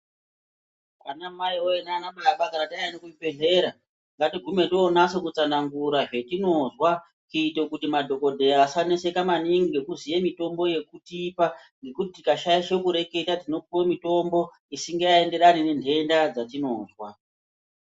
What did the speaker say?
Ana mai woye nana baba kana taenda kuzvibhedhlera ngatigume tonyasa kutsanangura zvatinozwa kuitira kuti madhokodheya asaneseka maningi nekuziya mitombo yekutipa nekuti tikashaisha maningi tinopuwa mitombo isingaenderani nendenda dzatinozwa.